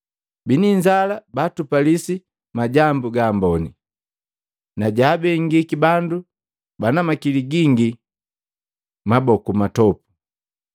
Bini inzala baatupalisi majambu gaamboni, na jaabengiki bandu bana mali gingi maboku matopu.